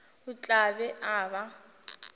o tla be a ba